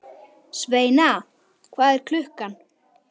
Sveina, hvað er klukkan?